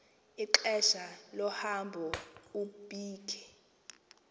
ixesha lohambo ubike